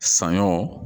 Saɲɔ